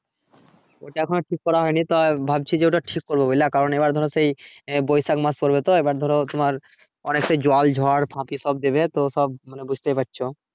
ওটা এখনো ঠিক করা হয়নি তা ভাবছি যে ওটা ঠিক করবো বুজলা কারণ এবার ধরো সেই বৈশাখ মাস পড়বে তো এবার ধরো তোমার অনেক সেই জল ঝড় ঝাঁপি সব দেবে তো সব মানে বুজতে পারছো